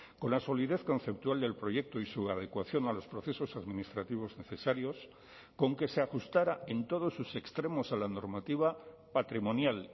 con la solidez conceptual del proyecto y su adecuación a los procesos administrativos necesarios con que se ajustara en todos sus extremos a la normativa patrimonial